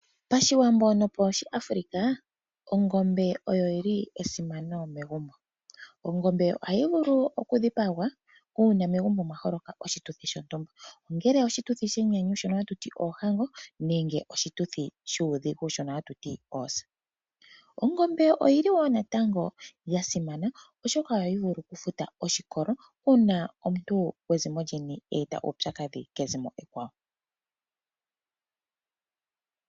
Pashiwambo nopa shiAfrika ongombe oya simana megumbo. Ongombe ohayi vulu okudhipagwa uuna megumbo mwaholoka oshituthi sho ntumba. Ongele oshituthi shenyanyu shono hatuti ohango nenge oshituthi shuudhigu shono hatuti oosa. Ongombe oyili wo nata yasimana oshoka ohayi vulu oku futa oshikolo uuna omuntu gwezimo lyeni eeta uupyakadhi kezimo ekwawo.